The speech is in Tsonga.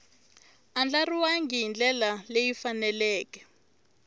andlariwangi hi ndlela leyi faneleke